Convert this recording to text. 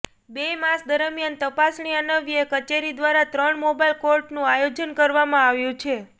બે માસ દરમીયાન તપાસણી અન્વયે કચેરી દ્વારા ત્રણ મોબાઈલ કોર્ટનું આયોજન કરવામાં આવ્યું છે